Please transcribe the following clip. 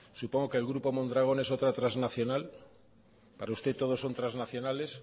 supongo que el grupo mondragón es otra transnacional para usted todo son transnacionales